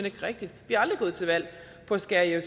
ikke rigtigt vi er aldrig gået til valg på at skære i